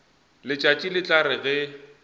letšatši le tla re ge